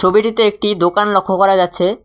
ছবিটিতে একটি দোকান লক্ষ করা যাচ্ছে।